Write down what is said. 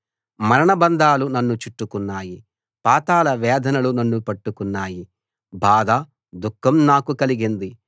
మరణబంధాలు నన్ను చుట్టుకున్నాయి పాతాళ వేదనలు నన్ను పట్టుకున్నాయి బాధ దుఃఖం నాకు కలిగింది